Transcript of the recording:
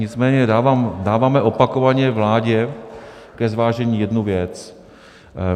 Nicméně dáváme opakovaně vládě ke zvážení jednu věc.